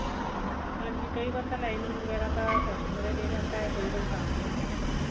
ਹਾਂਜੀ ਕਈ ਵਾਰ lining ਵਗੇਰਾ ਤਾਂ customer ਹੀ ਦੇ ਜਾਂਦਾ ਕਈ ਵਾਰ ਸਾਨੂੰ ਲਿਆਉਣੀ ਪੈਂਦੀ ਹੈ